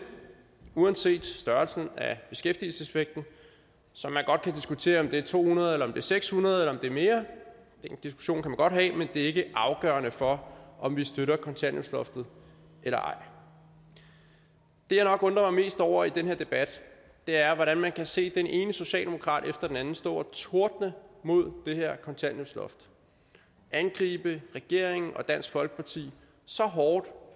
uanset størrelsen af beskæftigelseseffekten som man godt kan diskutere om er to hundrede eller seks hundrede eller mere den diskussion kan man godt have men det er ikke afgørende for om vi støtter kontanthjælpsloftet eller ej det jeg nok undrer mig mest over i den her debat er at man kan se den ene socialdemokrat efter den anden stå og tordne imod det her kontanthjælpsloft angribe regeringen og dansk folkeparti så hårdt